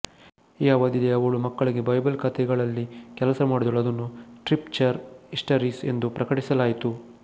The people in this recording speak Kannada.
ಈ ಅವಧಿಯಲ್ಲಿ ಅವಳು ಮಕ್ಕಳಿಗೆ ಬೈಬಲ್ ಕಥೆಗಳಲ್ಲಿ ಕೆಲಸ ಮಾಡಿದಳು ಅದನ್ನು ಸ್ಕ್ರಿಪ್ಚರ್ ಹಿಸ್ಟರೀಸ್ ಎಂದು ಪ್ರಕಟಿಸಲಾಯಿತು